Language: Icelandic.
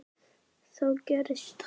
Þá gerðist það.